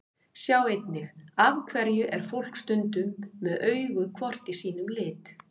Sjá einnig: Af hverju er fólk stundum með augu hvort í sínum lit?